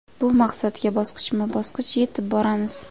Bu maqsadga bosqichma-bosqich yetib boramiz.